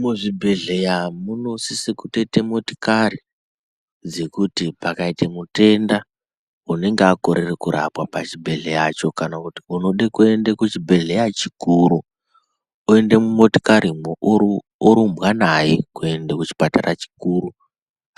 Muzvibhedhleya munosise kutoite motikari dzekuti pakaite mutenda unenge akorere kurapwa pachibhedhleyacho kana kuti unode kuende kuchibhedhleya chikuru oende mumotikarimwo orumbwa naye kuenda kuchipatara chikuru